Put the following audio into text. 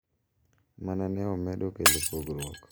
Ma ne omedo kelo pogruok.